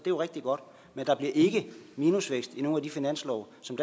jo rigtig godt men der bliver ikke minusvækst i nogen af de finanslove som